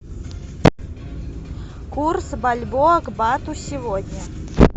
курс бальбоа к бату сегодня